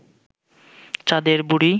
চাঁদের বুড়ি